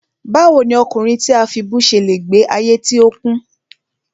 Báwo ni ọkùnrin tí a fibú ṣe le gbe ayé tí ó kún?